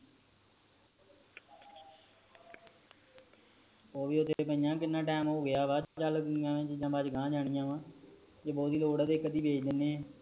ਓਵੀ ਓਥੇ ਪਾਇਆ ਕਿੰਨਾ ਟਾਈਮ ਹੋ ਗਯਾ ਵਾ ਚੀਜਾਂ ਪਈਆਂ ਬਾਦ ਚ ਗਾ ਜਾਣਿਆ ਫਰ ਜ ਬਹੁਤੀ ਲੋਡ਼ ਆ ਇਕ ਅੱਧੀ ਵੇਚ ਦੇਣੇ ਆ